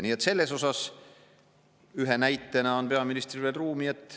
Nii et selles osas ühe näitena on peaministril veel ruumi.